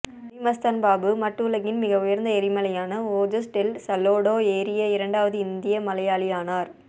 மலி மஸ்தான் பாபு மட் உலகின் மிக உயர்ந்த எரிமலையானா ஓஜோஸ் டெல் சலோடோ ஏறிய இரண்டாவது இந்திய மலையாளியானார்